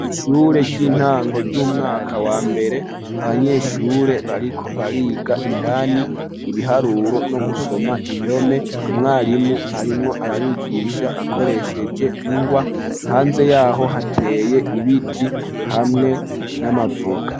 ishure ry'intango ry'umwaka wa mbere abanyeshure bariko bariga indani ibiharuro no gusoma indome umwarimu arimwo arabigisha akoresheje ingwa hanze yaho hateye ibiti hamwe n'amavoka